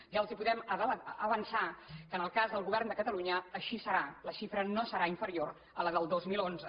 ja els podem avançar que en el cas del govern de catalunya així serà la xifra no serà inferior a la del dos mil onze